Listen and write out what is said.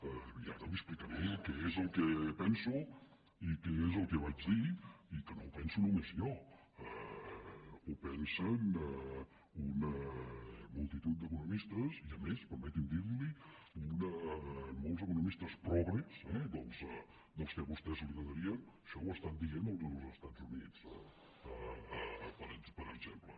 i ara li explicaré què és el que penso i què és el que vaig dir i que no ho penso només jo ho pensen una multitud d’economistes i a més permeti’m dir li ho molts economistes progres d’aquells que a vostè li agradarien això ho estan dient als estats units per exemple